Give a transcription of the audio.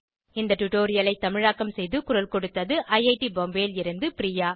இந்த டுடோரியலை தமிழாக்கம் செய்து குரல் கொடுத்தது ஐஐடி பாம்பேவில் இருந்து பிரியா